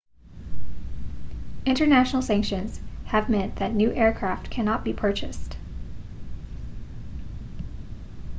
international sanctions have meant that new aircraft cannot be purchased